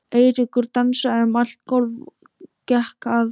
Eiríkur dansaði um allt gólf, gekk að